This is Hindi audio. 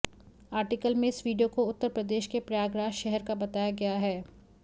आर्टिकल में इस वीडियो को उत्तर प्रदेश के प्रयागराज शहर का बताया गया है